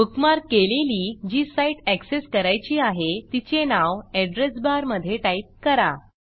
bookmark केलेली जी site access करायची आहे तिचे नाव एड्रेस बार मधे टाईप करा